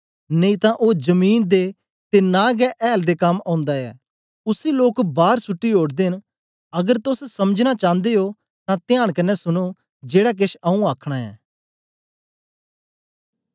नेई तां ओ जमीन दे ते न गै ऐल दे कम औन्दा ऐ उसी लोक बार सुट्टी ओड़दे ने अगर तोस समझना चांदे ओ तां त्यांन कन्ने सुनो जेड़ा केछ आऊँ आखना ऐं